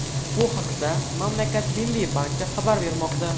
Bu haqda mamlakat Milliy banki xabar bermoqda .